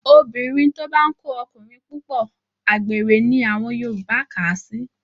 Obìnrin tó bá ń kó ọkùnrin púpọ̀, àgbèrè ni àwọn Yorùbá kà á sí